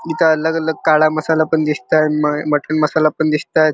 इथे अलग अलग काळा मसाला पण दिसताएत म मटन मसाला पण दिसताएत.